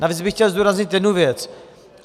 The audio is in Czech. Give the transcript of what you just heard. Navíc bych chtěl zdůraznit jednu věc.